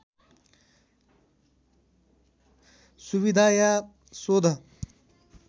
सुविधा या शोध